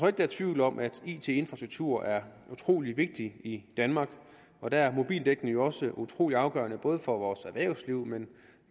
at der er tvivl om at it infrastruktur er utrolig vigtigt i danmark og der er mobildækning jo også utrolig afgørende både for vores erhvervsliv men